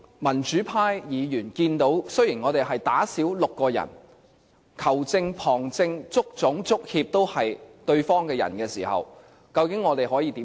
民主派議員看到，我們少了6人比賽，而當球證、旁證、足總、足協都是對方的人時，究竟我們可以怎樣做？